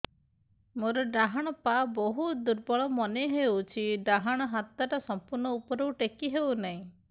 ମୋର ଡାହାଣ ପାଖ ବହୁତ ଦୁର୍ବଳ ମନେ ହେଉଛି ଡାହାଣ ହାତଟା ସମ୍ପୂର୍ଣ ଉପରକୁ ଟେକି ହେଉନାହିଁ